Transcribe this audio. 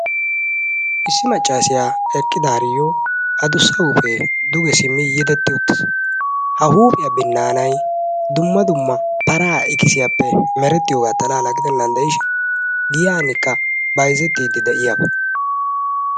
Issi maccassiyaa eqqidaariyoo adussa huuphee duge simmi yedetti uttis. Ha huphiyaa binnaanay dumma dumma paraa ikisiyaappe merettiyoogaa xalaala gidennan de'ishin giyaanikka bayzettiiddi de'iyaba.